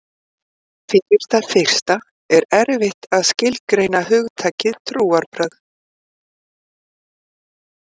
Fyrir það fyrsta er erfitt að skilgreina hugtakið trúarbrögð.